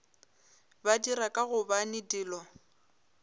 ba dira ka gobane dilo